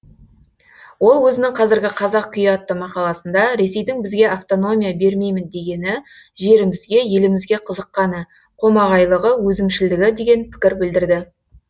ол өзінің қазіргі қазақ күйі атты мақаласында ресейдің бізге автономия бермеймін дегені жерімізге елімізге қызыққаны қомағайлығы өзімшілдігі деген пікір білдірді